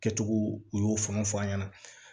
Kɛcogo u y'o fɔ an ɲɛna